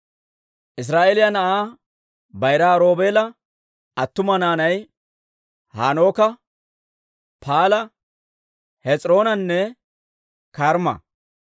Israa'eeliyaa na'aa bayiraa Roobeela attuma naanay Hanooka, Paala, Hes'iroonanne Karmma.